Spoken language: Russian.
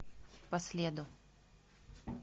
по следу